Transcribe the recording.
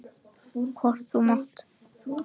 Hvort þú mátt!